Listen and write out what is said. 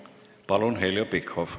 Palun, Heljo Pikhof!